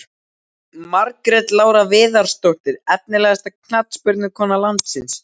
Margrét Lára Viðarsdóttir Efnilegasta knattspyrnukona landsins?